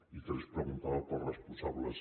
i tres preguntava pels responsables